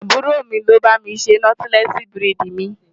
Àbúrò mi ni ó bá mi ṣe nọ́tílẹ́ẹ̀sì búrẹ́dì mi.